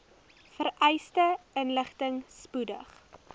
vereiste inligting spoedig